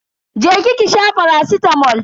Je ki ki sha faracitamol.